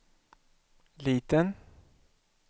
liten